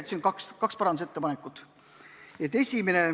Siin on kaks parandusettepanekut.